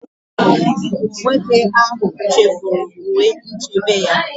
Nwoke ahụ chefuru uwe nchebe ya.